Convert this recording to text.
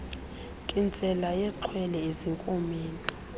nkintsela yexhwele ezinkomeni